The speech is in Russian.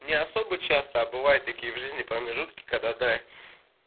не особо часто а бывает такие в жизни промежутки когда да